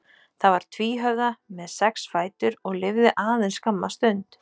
Það var tvíhöfða með sex fætur og lifði aðeins skamma stund.